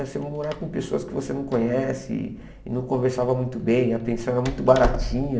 Você morar com pessoas que você não conhece e não conversava muito bem, a pensão era muito baratinha.